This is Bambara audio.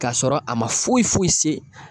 K'a sɔrɔ a ma foyi foyi se